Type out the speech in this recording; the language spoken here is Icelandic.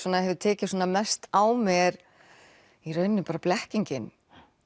hefur tekið mest á mig er í raun bara blekkingin